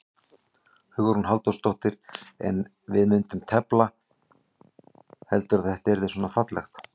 Hugrún Halldórsdóttir: En ef við myndum tefla, heldurðu að þetta yrði svona fallegt?